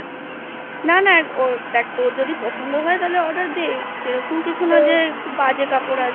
না না দেখ তোর যদি পছন্দ হয় তাহলে Order দে সেরকম কিছু নয় যে বাজে কাপড় আসবে